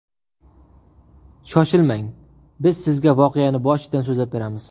Shoshilmang, biz sizga voqeani boshidan so‘zlab beramiz.